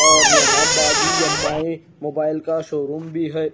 और यहा बाद वि मोबाइल का शोरूम भी है।